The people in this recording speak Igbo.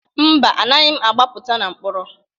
Mba, anaghị m agbapụta na mkpọrọ.